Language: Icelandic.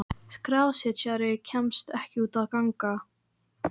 Skrásetjari kemst ekki út að ganga.